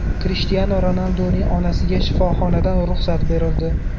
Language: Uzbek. Krishtianu Ronalduning onasiga shifoxonadan ruxsat berildi.